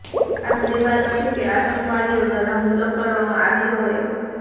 આ પહેલીવાર નથી કે આતંકવાદીઓ દ્વારા હુમલો કરવામાં આવ્યો હોય